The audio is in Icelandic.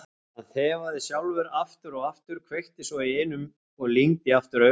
Hann þefaði sjálfur aftur og aftur, kveikti svo í einum og lygndi aftur augunum.